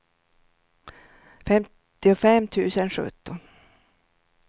femtiofem tusen sjutton